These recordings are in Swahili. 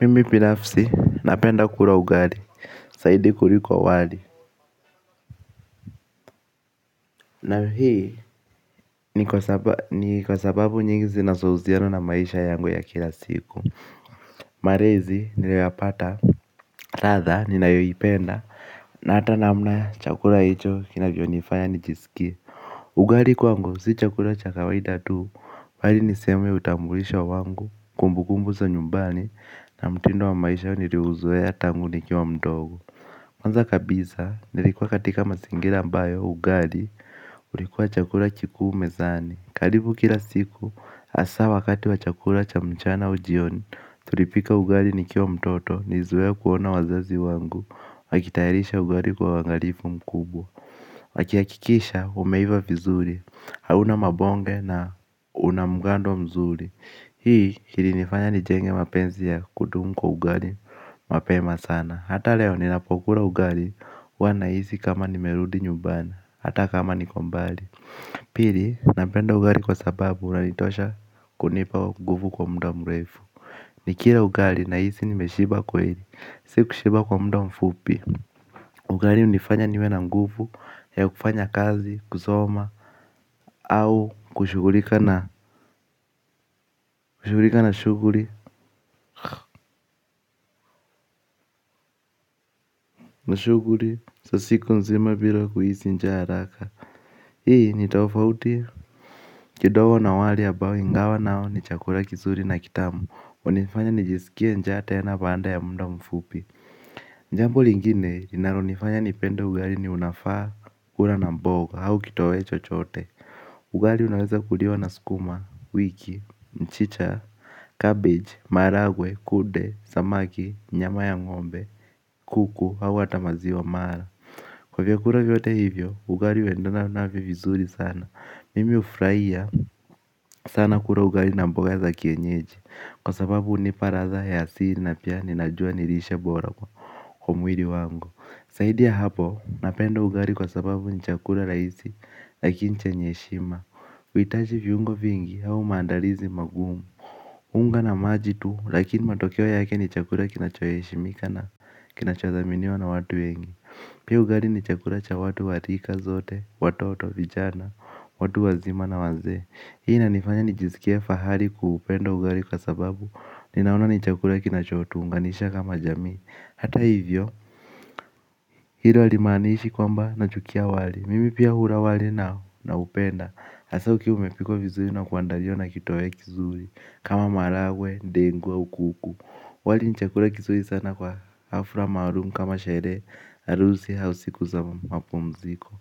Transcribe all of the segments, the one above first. Mimi binafsi napenda kula ugali zaidi kuliko wali. Na hii, ni kwa sababu nyingi zinazohusiana na maisha yangu ya kila siku. Marezi, niliyoyapata, radha, ninayoipenda. Na hata namna, chakula hicho, kinavyonifanya, nijisikie. Ugari kwangu, si chakula cha kawaida tu, bali niseme utambulisho wangu, kumbukumbu za nyumbani, na mtindo wa maisha niriuzoea tangu nikiwa mdogo. Kwanza kabisa, nilikuwa katika masingira ambayo ugali, ulikuwa chakula kikuu mezani karibu kila siku, hasa wakati wa chakula cha mchana au jioni, tulipika ugali nikiwa mtoto, nilizoea kuona wazazi wangu wakitayarisha ugali kwa uangalifu mkubwa wakihakikisha, umeiva vizuri, hauna mabonge na una mgando mzuri hii ilinifanya nijenge mapenzi ya kudumu kwa ugali mapema. Hata leo ninapokula ugali huwa nahisi kama nimerudi nyumbani hata kama niko mbali. Pili napenda ugali kwa sababu unanitosha kunipa nguvu kwa muda mrefu. Nikira ugari nahisi nimeshiba kweli. Si kushiba kwa mda mfupi. Ugari hunifanya niwe na ngufu ya kufanya kazi, kusoma au kushughulika na shughuri shughuri za siku nzima bila kuhisi njaa haraka. Hii ni tofauti kidogo na wali ambao ingawa nao ni chakura kizuri na kitamu hunifanya nijisikie njaa tena baanda ya muda mfupi. Njambo lingine linaronifanya nipende ugari ni unafaa kula na mboga au kitoweo chochote. Ugari unaweza kuliwa na skuma, wiki, mchicha, cabbage, maragwe, kude, samaki, nyama ya ng'ombe, kuku au hata maziwa mala. Kwa vyakura vyote hivyo, ugari huendana navyo vizuri sana. Mimi hufraia sana kura ugari na mboga za kienyeji. Kwa sababu hunipa radha ya asili na pia ninajua ni lishe bora kwa mwiri wangu. Saidi ya hapo napenda ugari kwa sababu ni chakura rahisi lakini chenye heshima huhitaji viungo vingi au maandalizi magumu unga na maji tu lakini matokeo yake ni chakula kinachoheshimika na kinachothaminiwa na watu wengi pia ugali ni chakula cha watu wa rika zote watoto, vijana, watu wazima, na wazee. Hii inanifanya nijiskie fahari kwa upendo wa ugali kwa sababu ninaona ni chakula kinachotuunganisha kama jamii. Hata hivyo hilo halimaaniishi kwamba nachukia wali. Mimi pia hura wali na naupenda. Hasa ukiwa umepikwa vizuri na kuandariwa na kitoweo kizuri kama maragwe, dengu, au kuku. Wali ni chakura kizuri sana kwa hafra maarum kama sheree harusi au siku za mapumziko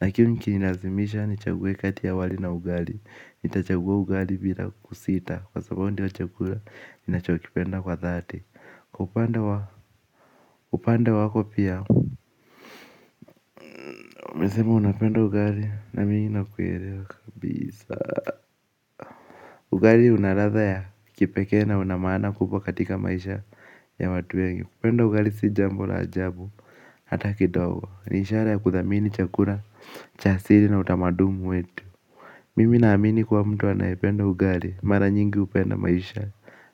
lakini ukinilazimisha nichague kati ya wali na ugali nitachagua ugali bila kusita. Kwa sababu ndio chakula ninachokipenda kwa dhati. Kwa upande wako pia unasema unapenda ugali nami nakuelewa kabisa, ugali una radha ya kipekee na una maana kubwa katika maisha ya watu wengi, kupenda ugali si jambo la ajabu. Hata kidogo ni ishara ya kuthamini chakura, cha siri na utamaduni wetu. Mimi naamini kuwa mtu anayependa ugari mara nyingi hupenda maisha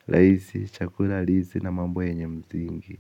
laisi, chakula, halisi na mambo yenye msingi.